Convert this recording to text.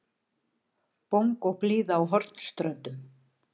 Bongóblíða á Hornströndum.